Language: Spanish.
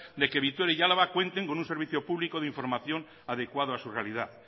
de que vitoria y álava cuenten con un servicio público de información adecuado a su realidad